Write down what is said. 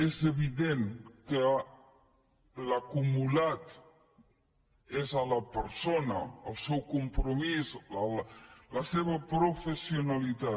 és evident que l’acumulat és a la persona el seu compromís la seva professionalitat